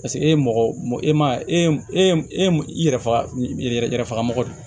Paseke e ye mɔgɔ e ma e yɛrɛ faga yɛrɛ fagako